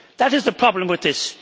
That is a problem with this.